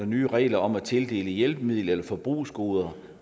nye regler om at tildele hjælpemidler eller forbrugsgoder